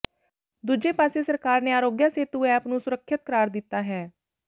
ਦੂਜੇ ਪਾਸੇ ਸਰਕਾਰ ਨੇ ਅਰੋਗਿਆ ਸੇਤੂ ਐਪ ਨੂੰ ਸੁਰੱਖਿਅਤ ਕਰਾਰ ਦਿੱਤਾ ਹੈ